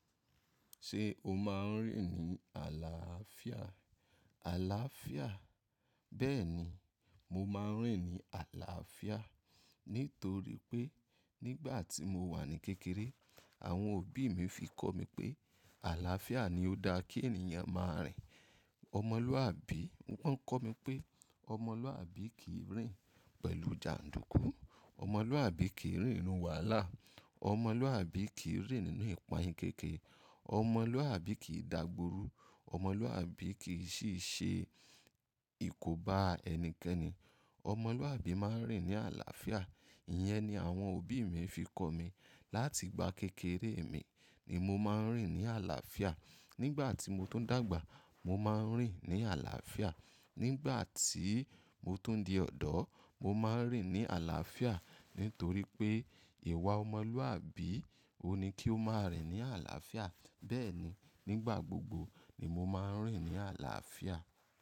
Ṣé o máa ń rìn ní àlàáfíà? Àlàáfíà. Bẹ́ẹ̀ni, mo máa ń rìn ní àlàáfíà. Nítorí pé nígbà tí mo wà ní kékeré, àwọn òbí mi fi kọ́ mi pé àlàáfíà ni ó dá kí ènìyàn máa rìn. Ọmọlúàbí, wọ́n ń kọ́ mi pé ọmọlúàbí kì í rìn pẹ̀lú jàndùkú. Ọmọlúàbí kì í rìn irun wàlá. Ọmọlúàbí kì í rìn nínú ìpànìyàn kékeré. Ọmọlúàbí kì í dàgboru. Ọmọlúàbí kì í ṣì ṣe ìkóbá ẹnikẹ́ni. Ọmọlúàbí máa ń rìn ní àlàáfíà. Ìyẹn ni àwọn òbí mi fi kọ́ mi. Láti ìgbà kékeré mi ni mo máa ń rìn ní àlàáfíà. Nígbà tí mo tó ń dàgbà, mo máa ń rìn ní àlàáfíà. Nígbà tí mo tó ń di ọ̀dọ́, mo máa ń rìn ní àlàáfíà. Nítorí pé ìwà ọmọlúàbí ò ní kí ó máa rìn ní àlàáfíà. Bẹ́ẹ̀ni, nígbà gbogbo ni mo máa ń rìn ní àlàáfíà.